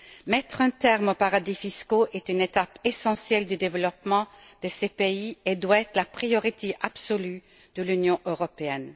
Mettre un terme aux paradis fiscaux est une étape essentielle du développement de ces pays et doit être la priorité absolue de l'Union européenne.